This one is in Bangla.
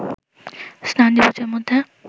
স্নান দিবসের মধ্যে